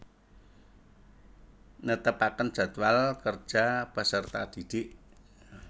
Netepaken jadwal kerja peserta didik